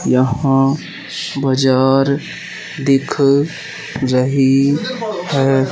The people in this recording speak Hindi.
यहां बाजार दिख रही है।